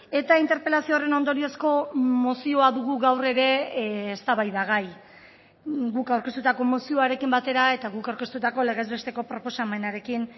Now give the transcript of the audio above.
eta interpelazio horren ondoriozko mozioa dugu gaur ere eztabaidagai guk aurkeztutako mozioarekin batera eta guk aurkeztutako legez besteko proposamenarekin